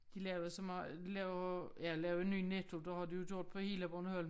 De lavede så meget laver ja lavede ny Netto det har de jo gjort på hele Bornholm